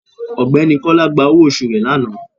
Ọgbẹni kola gba ọwọ osù re lanà